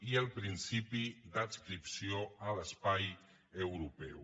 i el principi d’adscripció a l’espai europeu